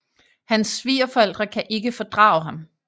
Hans svigerforældre kan ikke fordrage ham